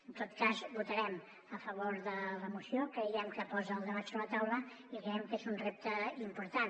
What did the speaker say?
en tot cas votarem a favor de la moció creiem que posa el debat sobre la taula i creiem que és un repte important